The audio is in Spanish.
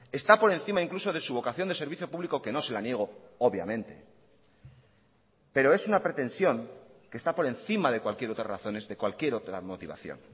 está por encima incluso de su vocación de servicio público que no se la niego obviamente pero es una pretensión que está por encima de cualquier otras razones de cualquier otra motivación